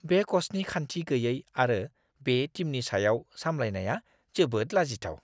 बे क'चनि खान्थि गैयै आरो बे टीमनि सायाव सामलायनाया जोबोद लाजिथाव!